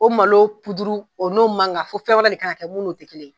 O malo o n'o man kan fo fɛn wɛrɛ de kan ka kɛ min n'o tɛ kelen ye.